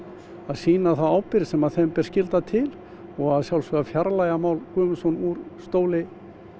sýna þá ábyrgð sem þeim ber skylda til og að sjálfsögðu fjarlægja Má Guðmundsson úr stóli